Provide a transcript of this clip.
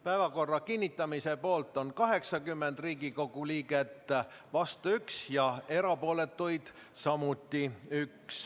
Päevakorra kinnitamise poolt on 80 Riigikogu liiget, vastuolijaid on 1 ja erapooletuid samuti 1.